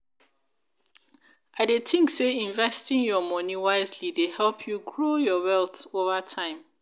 i dey think say investing your money wisely dey help you grow your wealth over time.